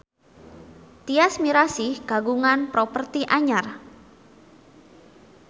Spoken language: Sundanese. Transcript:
Tyas Mirasih kagungan properti anyar